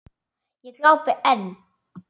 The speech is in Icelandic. Ég glápi enn.